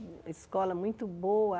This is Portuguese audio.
Escola muito boa.